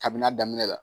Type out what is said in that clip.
Kabini a daminɛ la